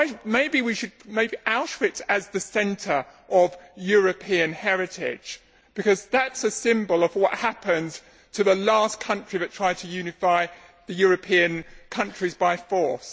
Maybe we should make Auschwitz the centre of European heritage, because that is a symbol of what happened to the last country that tried to unify the European countries by force.